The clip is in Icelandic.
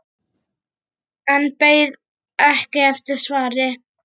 En beið ekki eftir svari.